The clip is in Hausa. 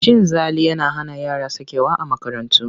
Cin zali yana hana yara sakewa a makarantu.